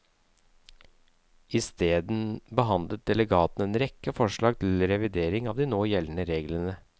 Isteden behandlet delegatene en rekke forslag til revidering av de nå gjeldende reglene.